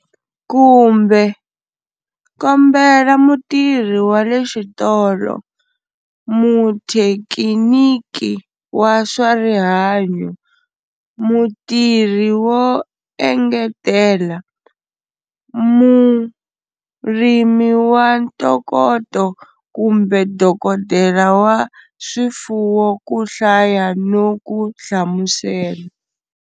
Kumbe, kombela mutirhi wa le xitolo, muthekiniki wa swa rihanyo, mutirhi wo engetela, murimi wa ntokoto kumbe dokodela wa swifuwo ku hlaya no ku hlamusela.